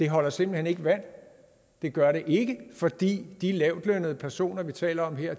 holder simpelt hen ikke vand det gør det ikke fordi de lavtlønnede personer vi taler om her